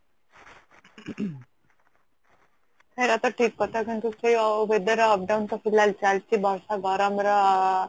ହେଇରା ତ ଠିକ କଥା କିନ୍ତୁ weather ର up down ତ ଚାଲିଚି ବର୍ଷା ଗରମ ର